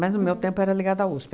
no meu tempo, era ligada à USP.